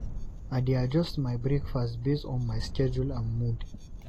I dey adjust my breakfast based on my schedule and mood.